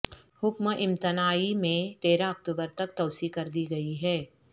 حکم امتناعی میں تیرہ اکتوبر تک توسیع کر دی گئی ہے